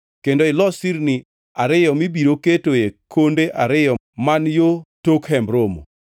kendo ilos sirni ariyo mibiro ketoe konde ariyo man yo tok Hemb Romo.